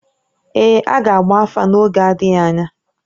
Ee, a ga-agba afa n’oge adịghị anya